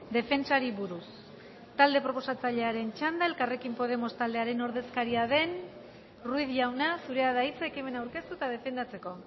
defentsari buruz talde proposatzailearen txanda elkarrekin podemos taldearen ordezkaria den ruiz jauna zurea da hitza ekimena aurkeztu eta defendatzeko